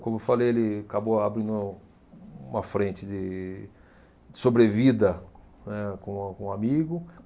Como eu falei, ele acabou abrindo uma frente de sobrevida, né com um com um amigo.